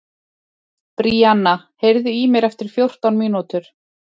Bríanna, heyrðu í mér eftir fjórtán mínútur.